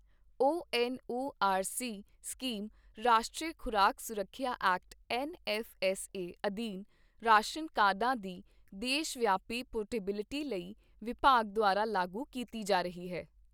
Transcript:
ਓ N O R C scheme ਰਾਸ਼ਟਰੀ ਖ਼ੁਰਾਕ ਸੁਰੱਖਿਆ act N F S A ਅਧੀਨ ਰਾਸ਼ਨ ਕਾਰਡਾਂ ਦੀ ਦੇਸ਼ ਵਿਆਪੀ ਪੋਰਟੇਬਿਲਟੀ ਲਈ ਵਿਭਾਗ ਦੁਆਰਾ ਲਾਗੂ ਕੀਤੀ ਜਾ ਰਹੀ ਹੈ।